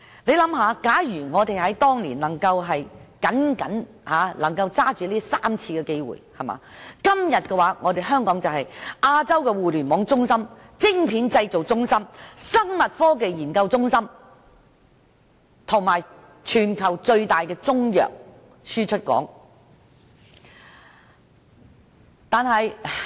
試想想，假如我們當年能夠抓緊這3個機會，今天香港已是亞洲互聯網中心、晶片製造中心、生物科技研究中心，以及全球最大的中藥輸出港。